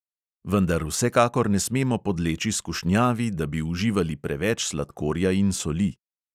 Vendar vsekakor ne smemo podleči skušnjavi, da bi uživali preveč sladkorja in soli.